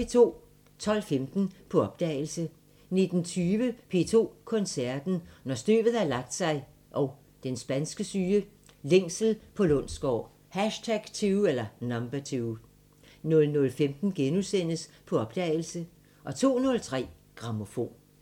12:15: På opdagelse 19:20: P2 Koncerten – Når støvet har lagt sig & Den spanske syge – Længsel på Lundsgaard #2 00:15: På opdagelse * 02:03: Grammofon